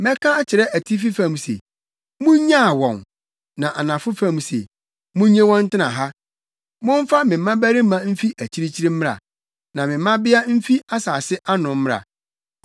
Mɛka akyerɛ atifi fam se, ‘Munnyaa wɔn!’ ne anafo fam se, ‘Munnye wɔn ntena ha.’ Momfa me mmabarima mfi akyirikyiri mmra na me mmabea mfi asase ano mmra,